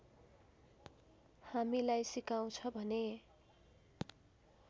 हामीलाई सिकाउँछ भने